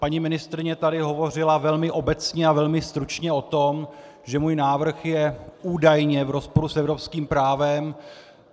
Paní ministryně tady hovořila velmi obecně a velmi stručně o tom, že můj návrh je údajně v rozporu s evropským právem.